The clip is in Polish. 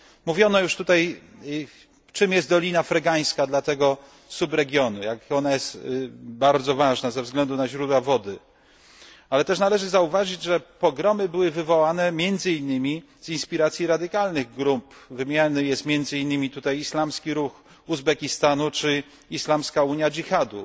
Mówiono już tutaj, czym jest Dolina Fergańska dla tego subregionu, jak bardzo jest ona ważna ze względu na źródła wody, ale też należy zauważyć, że pogromy były wywołane między innymi z inspiracji radykalnych grup, wymieniany jest między innymi tutaj Islamski Ruch Uzbekistanu czy Islamska Unia Dżihadu.